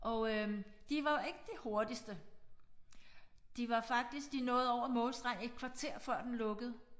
Og øh de var ikke de hurtigste de var faktisk de nåede over målstregen et kvarter før den lukkede